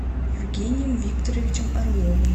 евгением викторовичем орловым